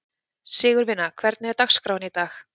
Sigurvina, hvernig er dagskráin í dag?